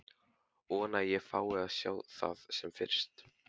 Vona að ég fái að sjá það sem fyrst.